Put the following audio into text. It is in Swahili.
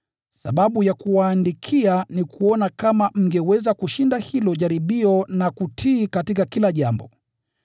Sababu ya kuwaandikia ni kuona kama mngeweza kushinda hilo jaribio na kutii katika kila jambo.